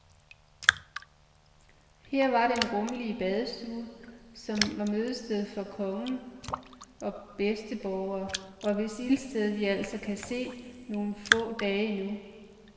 Her var den rummelige badstue, som var mødested for konge og bedsteborgere, og hvis ildsted vi altså kan se nogle få dage endnu.